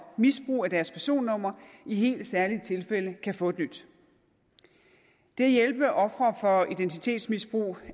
misbrug af deres personnumre i helt særlige tilfælde kan få et nyt det at hjælpe ofre for identitetsmisbrug